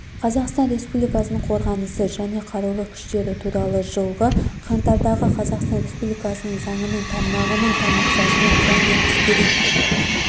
қазақстан республикасының қорғанысы және қарулы күштері туралы жылғы қаңтардағы қазақстан республикасы заңының тармағының тармақшасына және әскери